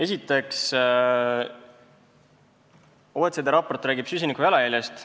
Esiteks, OECD raport räägib süsinikujalajäljest.